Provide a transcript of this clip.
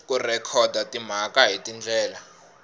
ku rhekhoda timhaka hi tindlela